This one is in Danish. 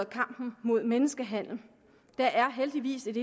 kampen mod menneskehandel der er heldigvis